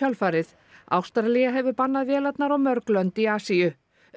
kjölfarið Ástralía hefur bannað vélarnar og mörg lönd í Asíu